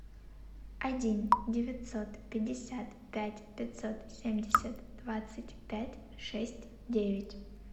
один девятьсот пятьдесят пять пятьсот семьдесят двадцать пять шесть девять